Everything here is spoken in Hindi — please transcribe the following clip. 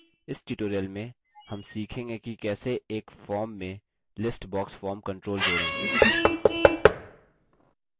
इस tutorial में हम सीखेंगे कि कैसे एक form में list box form control जोड़ें